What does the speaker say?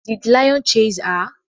Did lion chase her?